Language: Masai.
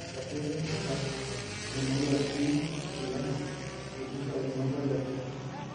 Iratiot lempira temurua osinya; Kilena, Rudisha tenebo Letoo